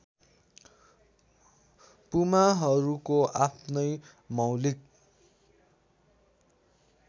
पुमाहरूको आफ्नै मौलिक